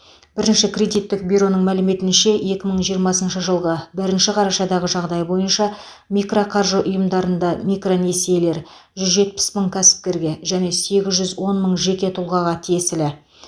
бірінші кредиттік бюроның мәліметінше екі мың жиырмасыншы жылғы бірінші қарашадағы жағдай бойынша мироқаржы ұйымдарында микронесиелер жүз жетпіс мың кәсіпкерге және сегіз жүз он мың жеке тұлғаға тиесілі